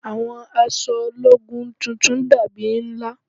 Àwọn aṣọ ológun titun dàbí ńlá